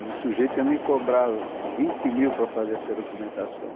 E o sujeito ia me cobrar vinte mil para fazer essa documentação.